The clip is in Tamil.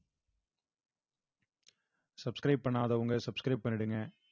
subscribe பண்ணாதவங்க subscribe பண்ணிடுங்க